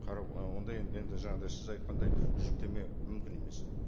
қарау ы ондай енді жаңағындай сіз айтқандай жүктеме мүмкін емес